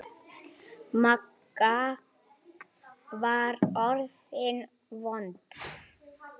Magga var orðin vond.